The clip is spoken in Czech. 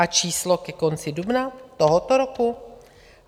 A číslo ke konci dubna tohoto roku?